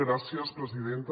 gràcies presidenta